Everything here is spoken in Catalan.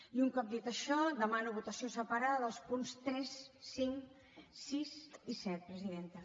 i un cop dit això demano votació separada dels punts tres cinc sis i set presidenta